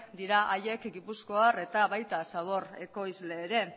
dira haiek gipuzkoar eta baita zabor ekoizle ere